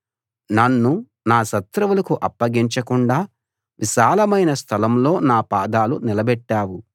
నన్ను నా శత్రువులకు అప్పగించకుండా విశాలమైన స్థలంలో నా పాదాలు నిలబెట్టావు